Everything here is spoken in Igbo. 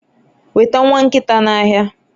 weta nwa nkita n'ahịa